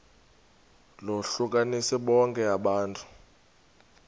lohlukanise bonke abantu